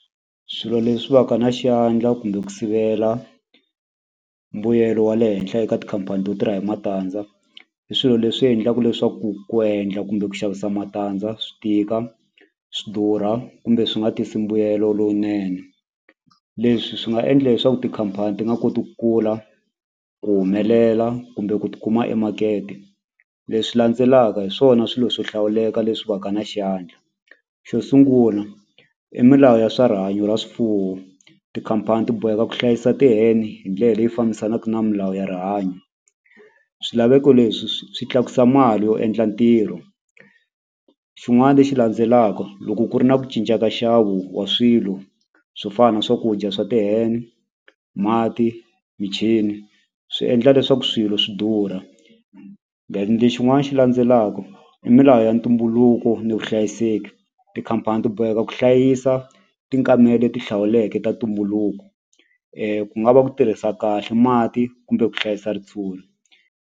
Swilo leswi va ka na xiyandla kumbe ku sivela mbuyelo wa le henhla eka tikhampani to tirha hi matandza i swilo leswi endlaku leswaku ku endla kumbe ku xavisa matandza swi tika swi durha kumbe swi nga tisi mbuyelo lowunene leswi swi nga endla leswaku tikhampani ti nga koti ku kula ku humelela kumbe ku tikuma emakete leswi landzelaka hi swona swilo swo hlawuleka leswi va ka na xiyandla xo sungula i milawu ya swa rihanyo ra swifuwo tikhampani ti boheka ku hlayisa ti-hen hi ndlela leyi fambisanaka na milawu ya rihanyo swilaveko leswi swi tlakusa mali yo endla ntirho xin'wani lexi landzelaka loko ku ri na ku cinca ka nxavo wa swilo swo fana na swakudya swa ti-hen mati michini swi endla leswaku swilo swi durha then lexin'wani xi landzelaka i milawu ya ntumbuluko ni vuhlayiseki tikhampani ti boheka ku hlayisa leti hlawuleke ta ntumbuluko ku nga va ku tirhisa kahle mati kumbe ku hlayisa ritshuri.